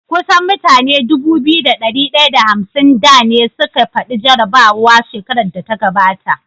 Kusan mutane Dubu biyu da dari daya da hamsin da ne suka fadi jarabawa shekarar da ta gabata